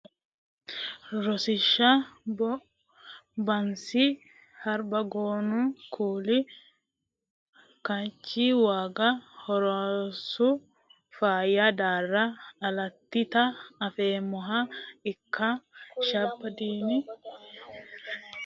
Rosiishsha bansi harbagoona huli kaachchi wogga horooreessu faayya daarra alattita afeemmohe ikka shabbadiino mare daama farashsho ya soodo gute koore hawaasi arfaaso daalleti daraaro ballo rosiisi e sidaaminke faaro ballo rosiisi.